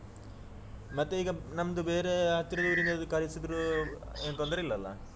ಮತ್ತೆ ಈಗ ನಮ್ದು ಬೇರೆ ಹತ್ತಿರ ಊರಿನವ್ರು ಕರಿಸಿದ್ರು ಅಹ್ ಏನ್ ತೊಂದ್ರೆ ಇಲ್ಲಲ್ಲಾ.